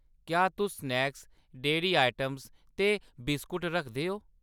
क्या तुस snacks, dairy items ते बिस्कुट रखदे ओ ?